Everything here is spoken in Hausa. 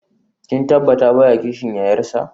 Kin tabbata baya kishin yayarsa?